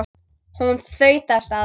Hún þaut af stað.